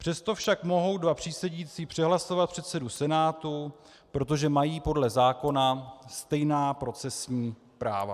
Přesto však mohou dva přísedící přehlasovat předsedu senátu, protože mají podle zákona stejná procesní práva.